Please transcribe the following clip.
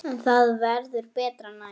En það verður betra næst.